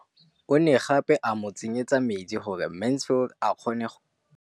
O ne gape a mo tsenyetsa metsi gore Mansfield a kgone go lema.